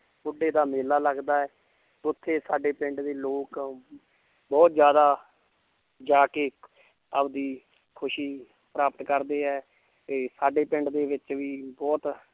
ਬੁੱਢੇ ਦਾ ਮੇਲਾ ਲੱਗਦਾ ਹੈ ਉੱਥੇ ਸਾਡੇ ਪਿੰਡ ਦੇ ਲੋਕ ਬਹੁਤ ਜ਼ਿਆਦਾ ਜਾ ਕੇ ਆਪਦੀ ਖ਼ੁਸ਼ੀ ਪ੍ਰਾਪਤ ਕਰਦੇ ਹੈ ਤੇ ਸਾਡੇ ਪਿੰਡ ਦੇ ਵਿੱਚ ਵੀ ਬਹੁਤ